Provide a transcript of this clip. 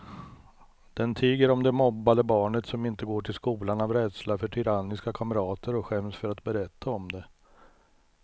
Den tiger om det mobbade barnet som inte går till skolan av rädsla för tyranniska kamrater och skäms för att berätta om det.